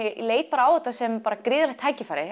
leit á þetta sem gríðarlegt